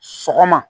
Sɔgɔma